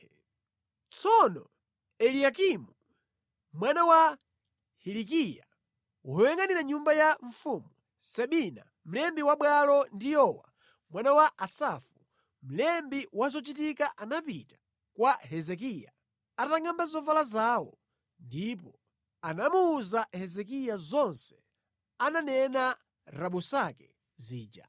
Pamenepo anthu atatu aja Eliyakimu, mwana wa Hilikiya amene ankayangʼanira nyumba ya mfumu, Sebina mlembi wa bwalo ndi Yowa mwana wa Asafu, mlembi wa zochitika anapita kwa Hezekiya atangʼamba zovala zawo ndipo anamuwuza Hezekiya zonse zimene anayankhula Rabusake uja.